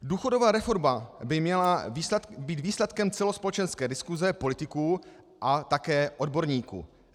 Důchodová reforma by měla být výsledkem celospolečenské diskuse politiků a také odborníků.